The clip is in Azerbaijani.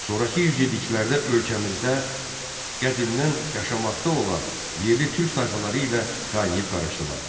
Sonrakı yüzilliklərdə ölkəmizdə qədimdən yaşamaqda olan yerli türk tayfaları ilə qaynayıb-qarışdılar.